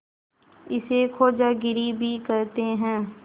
इसे खोजागिरी भी कहते हैं